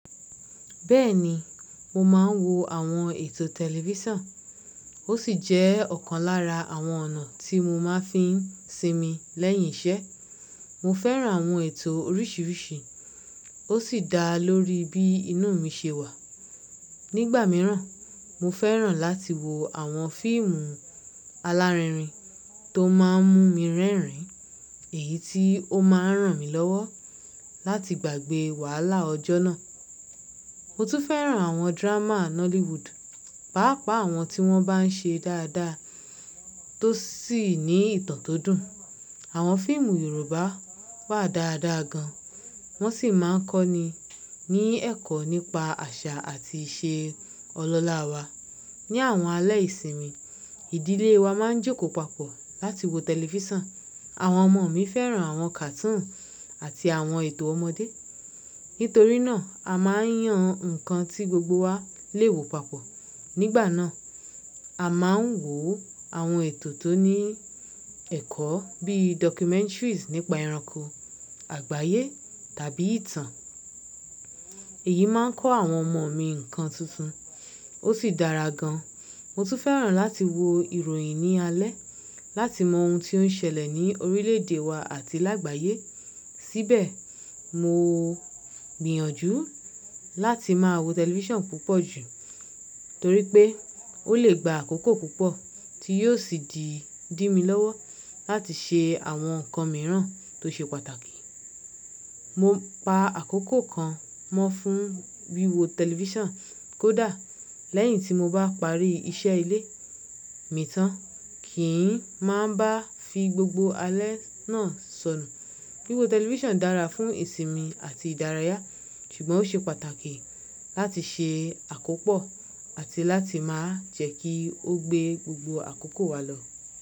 Bẹ́ẹ̀ni, mo máa ń wo àwọn ètò tẹlifísàn. Ó sì jẹ́ ọ̀kan lára àwọn ọ̀nà tí mo máa fi ń sinmi lẹ́yìn iṣẹ́. Mo fẹ́ràn àwọn ètò oríṣiríṣi, ó sì dá lórí bí inú mi ṣe wà. Nígbà mìíràn, mo fẹ́ràn láti wo àwọn fíìmù alárinrin tó máa ń mú mi rẹ́rìn-ín, èyí tí ó máa ń ràn mí lọ́wọ́ láti gbàgbé wàhálà ọjọ́ náà. Mo tún fẹ́ràn àwọn drama Nollywood, pàápàá àwọn tí wọ́n bá ń ṣe dáadáa tó sì ní ìtàn tó dùn. Àwọn fíìmù Yorùbá wà dáadáa gan, wọ́n sì máa ń kọ́ni ní ẹ̀kọ́ nípa àṣà àti ìṣe ọlọ́lá wa. Ni àwọn alẹ́ ìsinmi, ìdílé wa máa ń jòko papọ̀ láti wo tẹlifísàn. Àwọn ọmọ mi fẹ́ràn àwọn cartoon àti àwọn ètò ọmọdé. Nítorí náà, a máa ń yan nǹkan tí gbogbo wa lè wo papọ̀. Nígbà náà, a máa ń wo àwọn ètò tó ní ẹ̀kọ́ bíi documentaries nípa ẹranko, àgbáyé tàbí ìtàn. Èyí máa ń kọ́ àwọn ọmọ mi nǹkan tuntun, ó sì dára gan. Mo tún fẹ́ràn láti wo ìròyìn ní alẹ́ láti mọ ohun tí ó ń ṣẹlẹ̀ ní orílẹ̀ èdè wa àti lágbàyé. Síbẹ̀, mo gbìyànjú láti máa wo tẹlifísàn púpọ̀ jù torí pé ó lè gba àkókò púpọ̀ tí yóò sì di dí mi lọ́wọ́ láti ṣe àwọn nǹkan mìíràn tó ṣe pàtàkì. Mo pa àkókò kan mọ́ fún wíwo tẹlifísàn kódà lẹ́yìn tí mo bá parí iṣẹ́ ilé mi tán, kì í máa bá fi gbogbo alé náà sọnù. Wíwo tẹlifísàn dára fún ìsinmi àti ìdárayá, ṣùgbọ́n ó ṣe pàtàkì láti ṣe àkópọ̀ àti láti máa jẹ́ kí ó gbé gbogbo àkókò wa lọ.